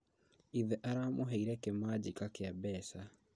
Ithe aramũheire kĩmanjika kĩa mbeca